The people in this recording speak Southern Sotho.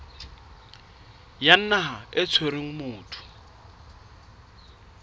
ya naha e tshwereng motho